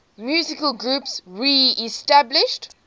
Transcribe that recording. musical groups reestablished